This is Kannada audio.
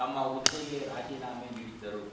ತಮ್ಮ ಹುದ್ದೆಗೆ ರಾಜೀನಾಮೆ ನೀಡಿದ್ದರು